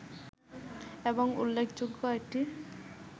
এবং উল্লেখযোগ্য একটি